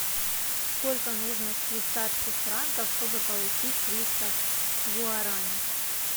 сколько нужно швейцарских франков чтобы получить триста гуарани